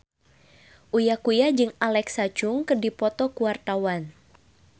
Uya Kuya jeung Alexa Chung keur dipoto ku wartawan